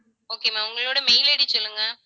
okay ma'am உங்களோட mail ID சொல்லுங்க